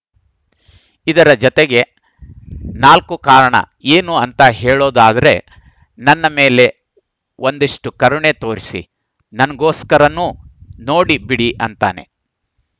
ಇದರ ಜತೆಗೆ ನಾಲ್ಕು ಕಾರಣ ಏನು ಅಂತ ಹೇಳೋದಾದ್ರೆ ನನ್‌ ಮೇಲೆ ಒಂದಿಷ್ಟುಕರುಣೆ ತೋರಿಸಿ ನಂಗೋಸ್ಕರನೂ ನೋಡಿ ಬಿಡಿ ಅಂತೇನೆ